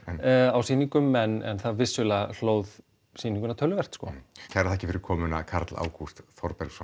á sýningum en það vissulega hlóð sýninguna töluvert kærar þakkir fyrir komuna Karl Ágúst Þorbergsson